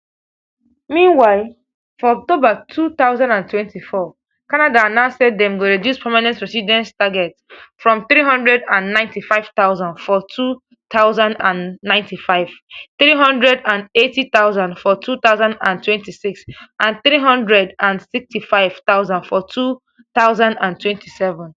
meanwhile for october two thousand and twenty-four canada announce say dem go reduce permanent residence target from three hundred and ninety-five thousand for two thousand and twenty-five three hundred and eighty thousand for two thousand and twenty-six and three hundred and sixty-five thousand for two thousand and twenty-seven